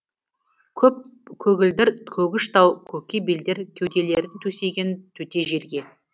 көп көгілдір көгіш тау көке белдер кеуделерін төсеген төте желге